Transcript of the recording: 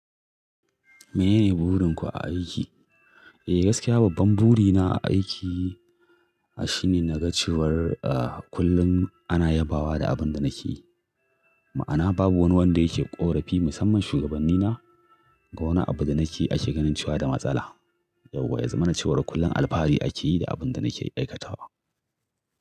Menene burin ku a aiki? Eh gaskiya babban buri na a aiki shi ne na ga cewar kullum ana yabawa da abin da nake yi. Ma'ana babu wani wanda yake ƙorafi musamman shugabannina ga wani abu da nake ake ganin ce da matsala. Yauwa, ya zama na cewar kullum alfahari ake yi da abin da nake aikatawa.